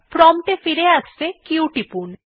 prompt এ ফিরে আসতে q টিপুন